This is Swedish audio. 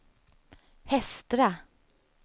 Hestra